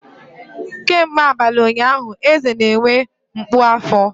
Kemgbe abalị ụnyaahụ, Eze na-enwe mgbu afọ.